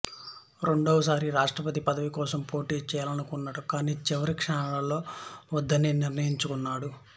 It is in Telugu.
రెండవసారి రాష్ట్రపతి పదవి కోసం పోటీ చేయాలనుకున్నాడు కానీ చివరి క్షణాలలో వద్దని నిర్ణయించుకున్నాడు